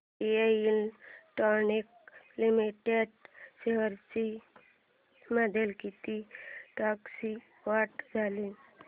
Bharat electronics limited shares मध्ये किती टक्क्यांची वाढ झाली